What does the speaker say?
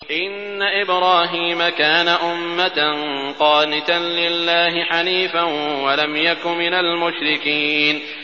إِنَّ إِبْرَاهِيمَ كَانَ أُمَّةً قَانِتًا لِّلَّهِ حَنِيفًا وَلَمْ يَكُ مِنَ الْمُشْرِكِينَ